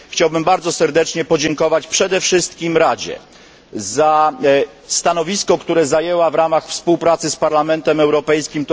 Chciałbym bardzo serdecznie podziękować przede wszystkim Radzie za stanowisko, które zajęła w ramach współpracy z Parlamentem Europejskim.